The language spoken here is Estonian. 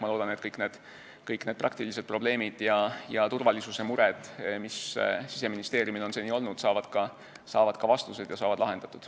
Ma loodan, et kõik praktilised probleemid ja mured turvalisusega, mis Siseministeeriumil on seni olnud, saavad vastused ja saavad lahendatud.